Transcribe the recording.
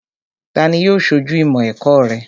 Tani yóò ṣojú ìmọ̀ ẹ̀kọ́ rẹ?